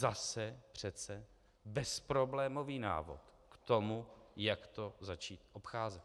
Zase přece bezproblémový návod k tomu, jak to začít obcházet.